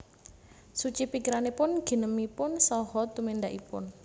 Suci pikiranipun ginemipun saha tumindakipun